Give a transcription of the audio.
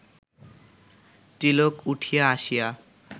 তিলক উঠিয়া আসিয়া